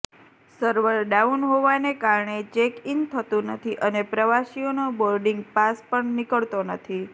server down હોવાને કારણે check in થતું નથી અને પ્રવાસીઓનો બોર્ડિંગ પાસપણ નીકળતો નથી